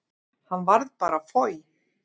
Hann varð bara foj.